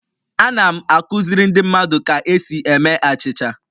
Ana m akụziri ndị mmadụ ka esi eme achịcha